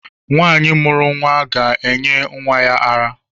Nwaanyi mụrụ nwa gá-enye nwa ya ara.